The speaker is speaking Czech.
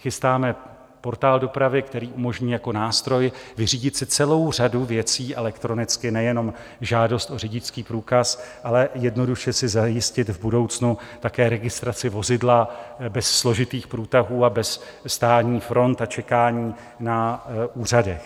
Chystáme portál dopravy, který umožní jako nástroj vyřídit si celou řadu věcí elektronicky, nejenom žádost o řidičský průkaz, ale jednoduše si zajistit v budoucnu také registraci vozidla bez složitých průtahů a bez stání front a čekání na úřadech.